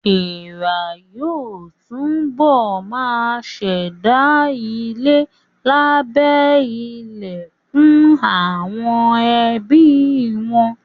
Èèrà yóò túbọ̀ ma ṣẹ̀dá ilé lábẹ́ ilẹ̀ fún àwọn ẹbí wọn